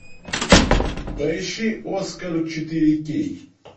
поищи оскар четыре кей